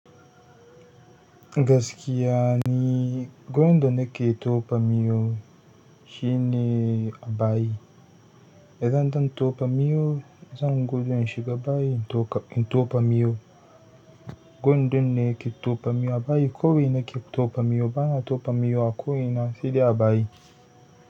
Gaskiya ni gwan da nake tofa miyo shine a bayi. Idan zan tauba miyo, zan gudu in shiga bayi in toka in topa miyo. Gwandone ke topa miyo a bayi, kowai na ke topa miyo. Bana topa miyo a ko ina, saidai a bayi.